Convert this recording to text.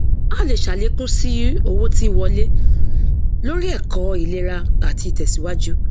a lè ṣàlékún sí owó tí wọlé lóri ẹkọ ìlera àti ìtẹsíwájú